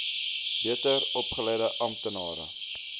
beter opgeleide amptenare